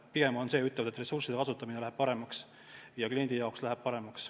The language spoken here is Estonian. Pigem on üteldud, et ressursside kasutamine läheb paremaks ja ka kliendi jaoks läheb kõik paremaks.